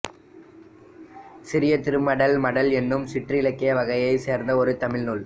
சிறிய திருமடல் மடல் என்னும் சிற்றிலக்கிய வகையைச் சேர்ந்த ஒரு தமிழ் நூல்